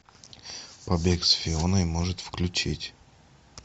побег с фионой может включить